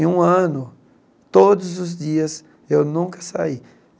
Em um ano, todos os dias, eu nunca saí.